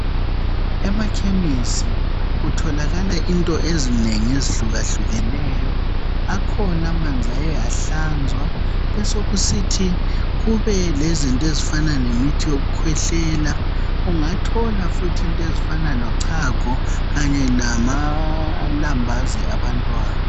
Emakhemesi kutholakala into ezinengi ezihluka hlukeneyo akhona amanzi aye ahlanzwa besokusithi kube lezinto ezifana lemithi yokukhwehlela ungathola futhi into ezifana lochago kanye lelambazini labantwana.